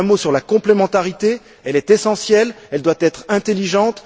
Un mot sur la complémentarité elle est essentielle et elle doit être intelligente.